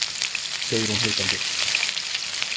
, segir hún hikandi.